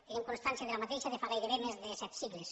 tenim constància d’aquesta activitat de fa gairebé més de set segles